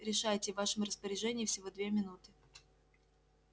решайте в вашем распоряжении всего две минуты